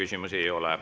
Teile küsimusi ei ole.